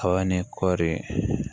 Kaba ni kɔɔri